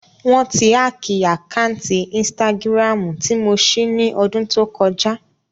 Wọ́n ti hákìì àkáǹtì ínstágíráàmù tí mo ṣí ní ọdún tó kọjá